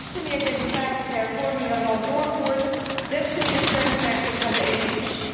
Hoe meer democratische hervormingen een land doorvoert, des te meer steun krijgt het van de EU.